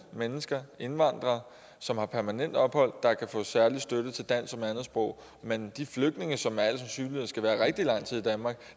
mennesker indvandrere som har permanent ophold der kan få særlig støtte til dansk som andetsprog mens de flygtninge som med al sandsynlighed skal være rigtig lang tid i danmark